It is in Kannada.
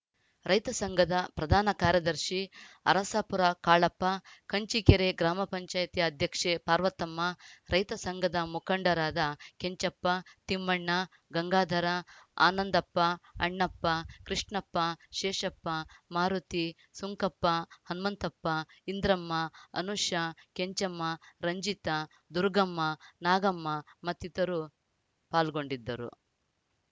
ರೈತ ಸಂಘದ ಪ್ರಧಾನ ಕಾರ್ಯದರ್ಶಿ ಅರಸಾಪುರ ಕಾಳಪ್ಪ ಕಂಚೀಕೆರೆ ಗ್ರಾಮ ಪಂಚಾಯತ್ ಅಧ್ಯಕ್ಷೆ ಪಾರ್ವತಮ್ಮ ರೈತಸಂಘದ ಮುಖಂಡರಾದ ಕೆಂಚಪ್ಪ ತಿಮ್ಮಣ್ಣ ಗಂಗಾಧರ ಆನಂದಪ್ಪ ಅಣ್ಣಪ್ಪ ಕೃಷ್ಣಪ್ಪ ಶೇಷಪ್ಪ ಮಾರುತಿ ಸುಂಕಪ್ಪ ಹನುಮಂತಪ್ಪ ಇಂದ್ರಮ್ಮ ಅನುಷಾ ಕೆಂಚಮ್ಮ ರಂಜಿತಾ ದುರುಗಮ್ಮ ನಾಗಮ್ಮ ಮತ್ತಿತರರು ಪಾಲ್ಗೊಂಡಿದ್ದರು